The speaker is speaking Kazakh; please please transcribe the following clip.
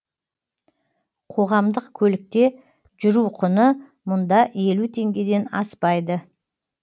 қоғамдық көлікте жүру құны мұнда елу теңгеден аспайды